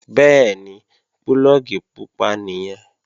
Bẹ́ẹ̀ni, púlọ̀gì pupa nìyẹn